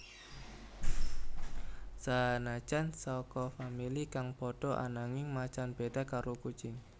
Sanajan saka famili kang padha ananging macan béda karo kucing